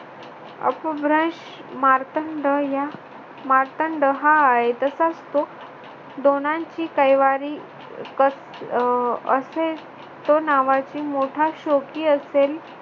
अपभ्रंश मातंड या मार्तंड हा आहे. तसाच तो दोघांशी कैवारी कस अह असेल तो नावाची मोठा शौकी असेल.